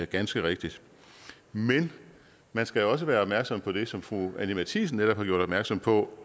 ganske rigtigt men man skal også være opmærksom på det som fru anni matthiesen netop har gjort opmærksom på